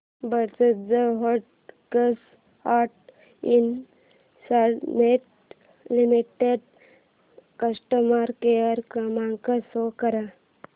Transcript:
Bajaj holdings and investment limited customer care क्रमांक show कर